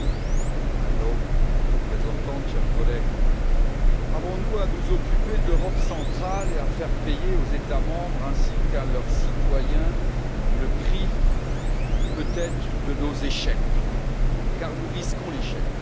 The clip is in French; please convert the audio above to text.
Monsieur le Président, Madame la Haute représentante, chers collègues, avons nous à nous occuper de l'Europe centrale et à faire payer aux États membres, ainsi qu'à leurs citoyens, le prix peut être de nos échecs? Car nous risquons l'échec.